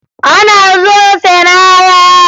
Ọ na-azụ ose n'ahịa